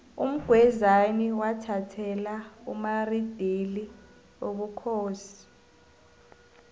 umgwezani wathathela umaridili ubukhosi